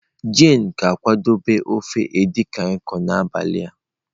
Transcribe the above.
Jane ga-akwadebe ofe edikaikan n'abalị a.